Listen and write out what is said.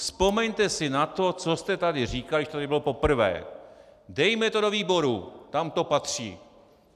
Vzpomeňte si na to, co jste tady říkali, když to tady bylo poprvé: Dejme to do výboru, tam to patří.